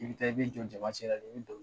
I bi taa i b'i jɔn jamacɛla de i bi